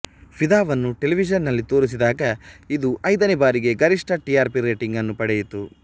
ಫಿದಾವನ್ನು ಟೆಲಿವಿಷನ್ನಲ್ಲಿ ತೋರಿಸಿದಾಗ ಇದು ಐದನೇ ಬಾರಿಗೆ ಗರಿಷ್ಠ ಟಿ ಆರ್ಪಿ ರೇಟಿಂಗ್ ಅನ್ನು ಪಡೆಯಿತು